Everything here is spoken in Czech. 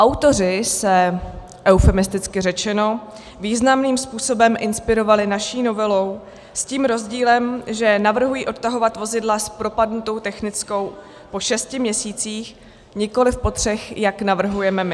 Autoři se, eufemisticky řečeno, významným způsobem inspirovali naší novelou, s tím rozdílem, že navrhují odtahovat vozidla s propadlou technickou po šesti měsících, nikoliv po třech, jak navrhujeme my.